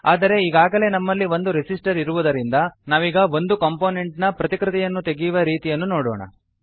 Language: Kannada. ಆದರೆ ಈಗಾಗಲೆ ನಮ್ಮಲ್ಲಿ ಒಂದು ರೆಸಿಸ್ಟರ್ ಇರುವುದರಿಂದ ನಾವೀಗ ಒಂದು ಕಾಂಪೊನೆಂಟ್ ನ ಪ್ರತಿಕೃತಿಯನ್ನು ತೆಗೆಯುವ ರೀತಿಯನ್ನು ನೋಡೋಣ